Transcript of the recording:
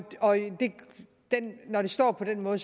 når det står på den måde